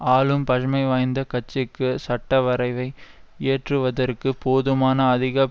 ஆளும் பஜமைவாத கட்சிக்கு சட்டவரைவை ஏற்றுவதற்கு போதுமான அதிக